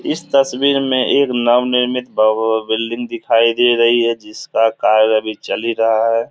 इस तस्वीर में एक नव निर्मित बा बा बिल्डिंग दिखाई दे रही है जिसका कार्य अभी चल ही रहा है।